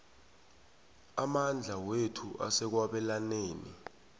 amandla wethu asekwabelaneni